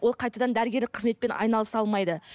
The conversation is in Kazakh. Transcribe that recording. ол қайтадан дәрігерлік қызметпен айналыса алмайды